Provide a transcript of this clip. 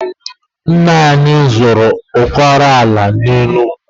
Nna anyị zụta ụbara ala na Enugu.